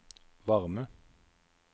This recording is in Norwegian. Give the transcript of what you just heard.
varme